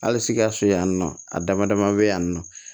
Hali sikaso yan nɔ a dama dama bɛ yan nɔ